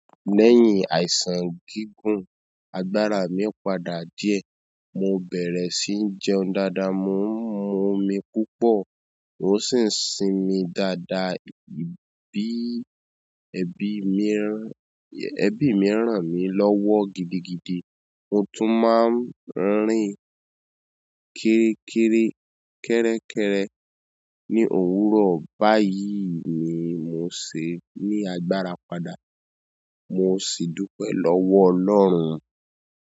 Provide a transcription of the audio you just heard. Lẹ́yìn àìsàn gígùn, agbára mi padà díẹ̀. Mo bẹ̀rẹ̀ sí ń jẹun dáadáa, mo ń mu omi púpọ̀ mó sì ń sinmi dáadáa, ẹbí mi ràn mí lọ́wọ́ gidigidi mo tún máa ń rìn kéré kéré, kẹ́rẹ́kẹ́rẹ́ ní òwúrọ̀. Báyìí ni mo ṣe ní agbára padà. Mo sì dúpẹ́ lọ́wọ́ Ọlọ́run.